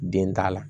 Den t'a la